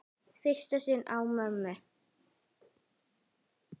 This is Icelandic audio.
Í fyrsta sinn án mömmu.